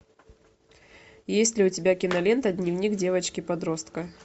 есть ли у тебя кинолента дневник девочки подростка